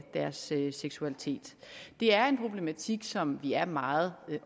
deres seksualitet det er en problematik som vi er meget